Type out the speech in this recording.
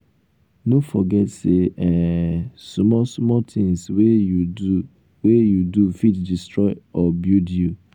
no forget say um small small things wey you do wey you do fit destroy or build you.